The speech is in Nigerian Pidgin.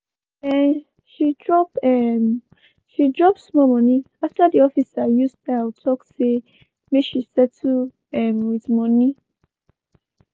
um she drop um she drop small moni after di officer use style tok say make she settle um with moni.